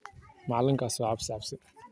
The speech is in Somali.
Magacaka nosheeg bal.